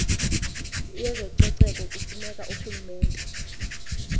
yezococeko kufuneka urhulumente